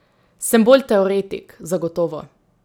Sem bolj teoretik, zagotovo.